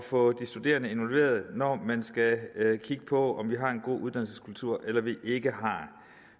få de studerende involveret når man skal kigge på om vi har en god uddannelseskultur eller om vi ikke har